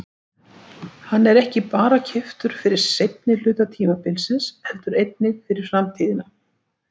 Hann er ekki bara keyptur fyrir seinni hluta tímabilsins heldur einnig fyrir framtíðina.